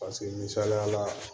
Paseke misaliya la